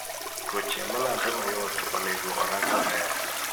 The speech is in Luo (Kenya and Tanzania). tuoche malandre mayot onego orang maber